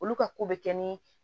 Olu ka ko bɛ kɛ ni